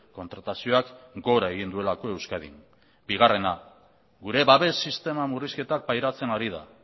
kontratazioak gora egin duelako euskadin bigarrena gure babes sistema murrizketak pairatzen ari da